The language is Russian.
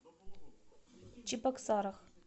чебоксарах